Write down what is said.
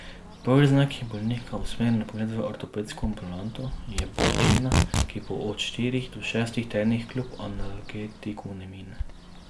Prvi znak, ki bolnika usmeri na pregled v ortopedsko ambulanto, je bolečina, ki po od štirih do šestih tednih kljub analgetiku ne mine.